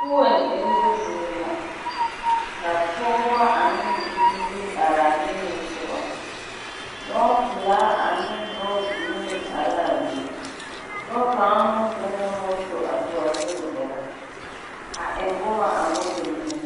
Fuel emmo zie la, ka pɔgeba ane biiri araa niŋe sɔgɔ. Lɔɔpelaa ane lɔɔ green are laa be. Dɔɔ kaŋ meŋ zɔŋɛɛ moto a tu a be gɛrɛ, a eŋ boma a moto niŋeŋ.